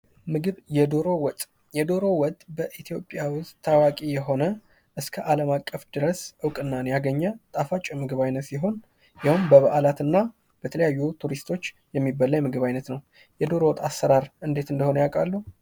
ምግብ፦ የዶሮ ወጥ፦ የዶሮ ወጥ በኢትዮጵያ ውስጥ ታዋቂ የሆነ እስከ አለም አቀፍ ድረስ እውቅናን ያገኘ ጣፋጭ የምግብ አይነት ሲሆን የሄውም በበአላት እና ለተለያዩ ቱሪስቶች የሚበላ የምግብ አይነት ነው። የዶሮ ወጥ አሰራር እንዴት እንደሆነ ያቃሉ?